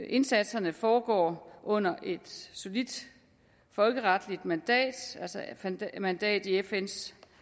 indsatserne foregår under et solidt folkeretligt mandat altså et mandat i fns